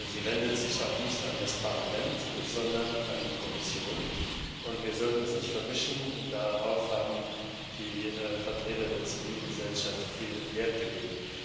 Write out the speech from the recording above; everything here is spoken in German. Sie richtet sich auch nicht an das Parlament, sondern an die Kommission, und wir sollten das nicht vermischen. Darauf haben die Vertreter der Zivilgesellschaft viel Wert gelegt.